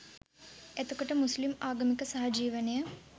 එතකොට මුස්ලිම් ආගමික සහජිවනය